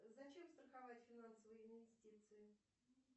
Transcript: зачем страховать финансовые инвестиции